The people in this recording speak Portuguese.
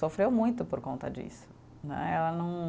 sofreu muito por conta disso né, ela não.